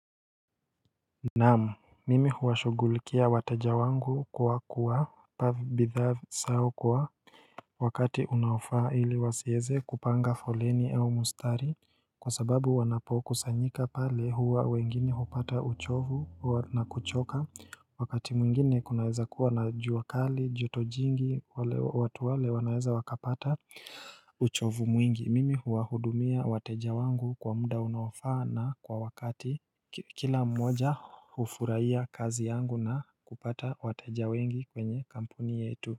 Naamu mimi huwashugulikia wateja wangu kuwa kuwa pa bithaa sao kuwa wakati unaofaa hili wasieze kupanga foleni au mustari kwa sababu wanapokusanyika pale huwa wengine hupata uchovu na kuchoka wakati mwingine kunaweza kuwa na juu wakali jotojingi watu wale wanaweza wakapata uchovu mwingi mimi huwahudumia wateja wangu kwa muda unaofaa na kwa wakati Kila mmoja hufurahia kazi yangu na kupata wateja wengi kwenye kampuni yetu.